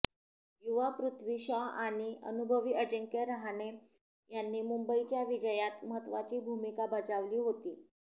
युवा पृथ्वी शॉ आणि अनुभवी अजिंक्य रहाणे यांनी मुंबईच्या विजयात महत्त्वाची भूमिका बजावली होती